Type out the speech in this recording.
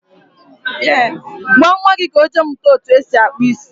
gwa nwa gị ka ọ jee mụta etu esi akpụ isi